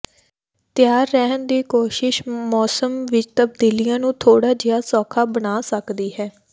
ਤਿਆਰ ਰਹਿਣ ਦੀ ਕੋਸ਼ਿਸ਼ ਮੌਸਮ ਵਿਚ ਤਬਦੀਲੀਆਂ ਨੂੰ ਥੋੜ੍ਹਾ ਜਿਹਾ ਸੌਖਾ ਬਣਾ ਸਕਦੀ ਹੈ